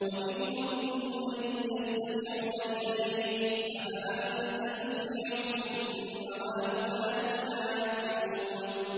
وَمِنْهُم مَّن يَسْتَمِعُونَ إِلَيْكَ ۚ أَفَأَنتَ تُسْمِعُ الصُّمَّ وَلَوْ كَانُوا لَا يَعْقِلُونَ